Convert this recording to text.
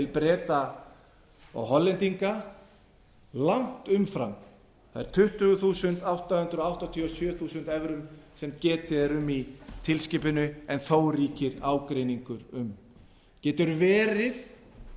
breta og hollendinga langt umfram þær tuttugu þúsund átta hundruð áttatíu og sjö þúsund evrur sem getið er um í tilskipuninni en þó ríkir ágreiningur um getur verið